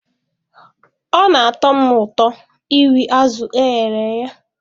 Ọ na-atọ m ụtọ iri azụ̀ e ghere eghe.